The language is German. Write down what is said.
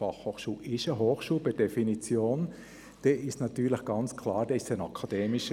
Die Fachhochschule ist per Definition eine Hochschule.